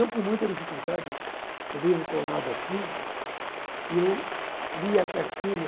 Eu, com muita dificuldade, o livro colado assim, eu lia a cartilha